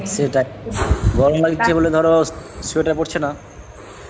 সেটাই গরম লাগছে বলে ধর sweater পরছে না